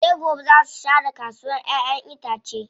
Sai gobe zaa su share kasuwa ƴaƴen itace.